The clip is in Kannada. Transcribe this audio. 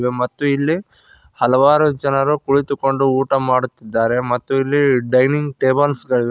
ಮತ್ತು ಇಲ್ಲಿ ಹಲವಾರು ಜನರು ಕುಳಿತುಕೊಂಡು ಊಟ ಮಾಡುತ್ತಿದ್ದಾರೆ ಮತ್ತು ಇಲ್ಲಿ ಡೈನಿಂಗ್ ಟೇಬಲ್ಸ್ ಗಳಿವೆ.